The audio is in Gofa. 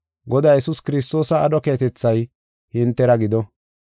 Godaa Yesuus Kiristoosa aadho keehatethay hintera gido.